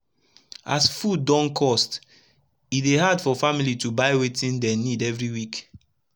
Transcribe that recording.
as fud don cost e dey hard for family to buy wetin dem nid everi week